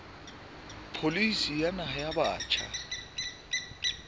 pholisi ya naha ya batjha